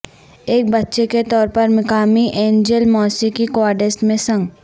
ایک بچے کے طور پر مقامی انجیل موسیقی کوارٹیٹس میں سنگ